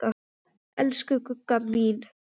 Elsku Gugga mín.